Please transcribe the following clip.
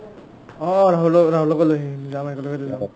অ অ ৰাহুল ৰাহুলকো লৈ আহিম যাম একেলগেতে যাম